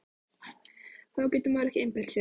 Þá getur maður ekki einbeitt sér!